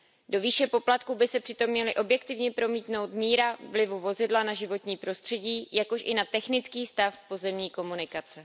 Do výše poplatků by se přitom měla objektivně promítnout míra vlivu vozidla na životní prostředí, jakož i na technický stav pozemní komunikace.